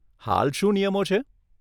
હાલ શું નિયમો છે?